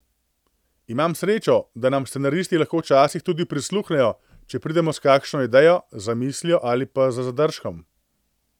Imamo srečo, da nam scenaristi lahko včasih tudi prisluhnejo, če pridemo s kakšno idejo, zamislijo ali pa z zadržkom.